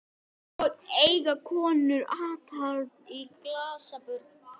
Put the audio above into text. Já, þú sagðir það áðan, sagði Kobbi.